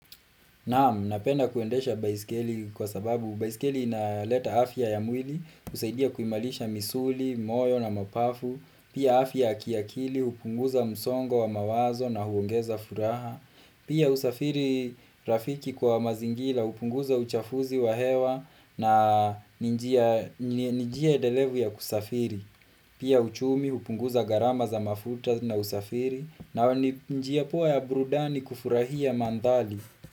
Naam, napenda kuendesha baiskeli kwa sababu baiskeli inaleta afya ya mwili, husaidia kuimarisha misuli, moyo na mapafu, pia afya ya kiakili, hupunguza msongo wa mawazo na huongeza furaha, pia husafiri rafiki kwa mazingira, hupunguza uchafuzi wa hewa na ni njia endelevu ya kusafiri, pia uchumi, hupunguza gharama za mafuta na usafiri, na ni njia poa ya burudani kufurahia mandhari.